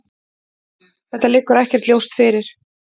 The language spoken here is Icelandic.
Þetta liggur ekkert ljóst fyrir.